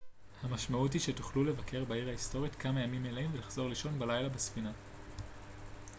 המשמעות היא שתוכלו לבקר בעיר ההיסטורית כמה ימים מלאים ולחזור לישון בלילה בספינה